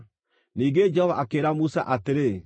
Ningĩ Jehova akĩĩra Musa atĩrĩ,